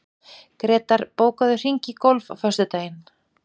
Grétar, bókaðu hring í golf á föstudaginn.